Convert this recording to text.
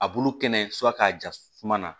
A bulu kɛnɛ k'a ja suma na